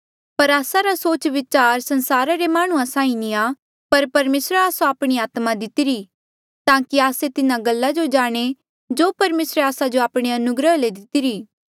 पर आस्सा रा सोच विचार संसारा रे माह्णुंआं साहीं नी आ पर परमेसरे आस्सो आपणी आत्मा दितिरी ताकि आस्से तिन्हा गल्ला जो जाणें जो परमेसरे आस्सा जो आपणे अनुग्रह ले दितिरी